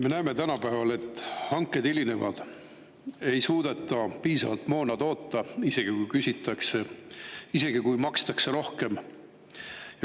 Me näeme tänapäeval, et hanked hilinevad, ei suudeta piisavalt moona toota, isegi kui maksta rohkem.